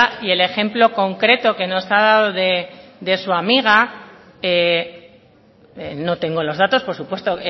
y el ejemplo concreto que nos ha dado de su amiga no tengo los datos por supuesto